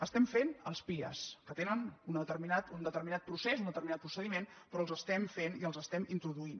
estem fent els pia que tenen un determinat procés un determinat procediment però els estem fent i els estem introduint